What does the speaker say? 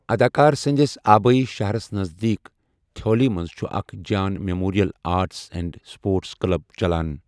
اَداکار سٕنٛدِس آبٲیی شَہرس نزدیٖک تھیوَلی منٛز چُھ اَکھ Jayan memorial arts and sports club چَلان۔